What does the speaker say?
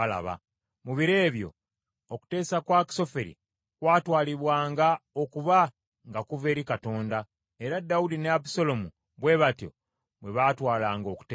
Mu biro ebyo okuteesa kwa Akisoferi, kwatwalibwanga okuba nga kuva eri Katonda, era Dawudi ne Abusaalomu bwe batyo bwe baatwalanga okuteesa kwe.